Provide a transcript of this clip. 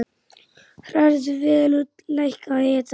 Hrærðu vel og lækkaðu hitann.